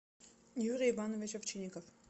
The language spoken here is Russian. юрий иванович овчинников